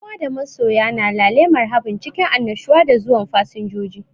Yan uwa da masoya na lale marhabun cikin annushuwa da zuwan fasinjoji.